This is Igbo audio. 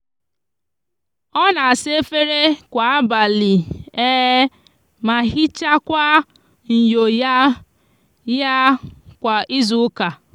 o n'asa efere kwa abali ma hichakwa nyo ya ya kwa izuuka